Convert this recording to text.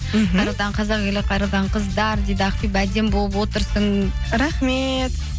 мхм қайырлы таң қазақ елі қайырлы таң қыздар дейді ақбибі әдемі болып отырсың рахмет